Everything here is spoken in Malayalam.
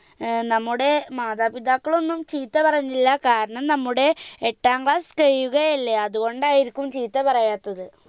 ഏർ നമ്മുടെ മാതാപിതാക്കളൊന്നും ചീത്ത പറഞ്ഞില്ല കാരണം നമ്മുടെ എട്ടാം class കയ്യുകയല്ലേ അത് കൊണ്ടായിരിക്കും ചീത്ത പറയാത്തത്